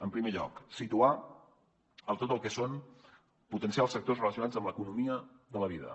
en primer lloc situar tot el que és potenciar els sectors relacionats amb l’economia de la vida